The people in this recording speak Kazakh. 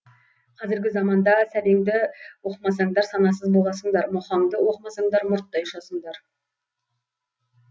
қазіргі заманда сәбеңді оқымасаңдар санасыз боласыңдар мұхаңды оқымасаңдар мұрттай ұшасыңдар